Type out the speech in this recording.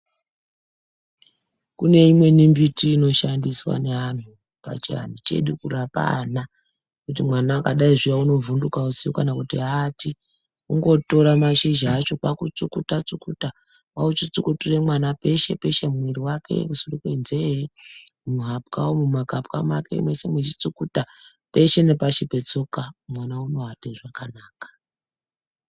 Kune imweni miti inoshandiswa neanhu pachianhu chedu kurapa ana kuti mwana akadai zviya unovhunduka usiku kana kuti aati kungotore mashizha acho kwakutsukuta tsukuta kwauchitsukutire mwana peshe peshe mumwiri mwake kusure kwenzee muhapwa umu muhapwa mwake mwechitsukuta peshe nepashi petsoka mwana unoate zvakanaka .